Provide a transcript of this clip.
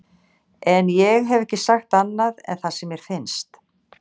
En ég hef ekki sagt annað en það sem mér finnst.